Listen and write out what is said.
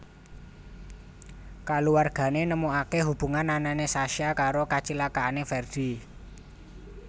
Kaluwargané nemukaké hubungan anané Sasha karo kacilakaané Ferdi